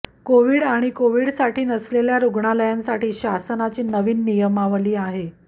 COVID आणि कोव्हिडसाठी नसलेल्या रुग्णालयांसाठी शासनाची नियमावली आहे